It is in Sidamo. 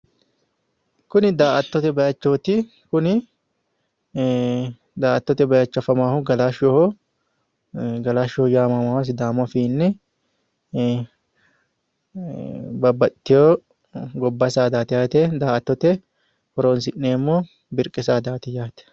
Kuni daa"attote bayichooti. Daa"attote bayicho afamaahu galashshoho. Galashshoho taamamawo sidaamu afiinni. Babbaxxitino gobba saadaati yaate. Daa"attote horoonsi'neemmo birqe saadaati yaate.